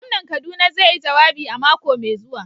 Gwamnan kaduna zai yi jawabi a mako mai zuwa.